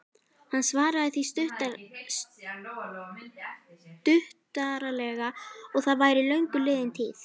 Hann svaraði því stuttaralega að það væri löngu liðin tíð.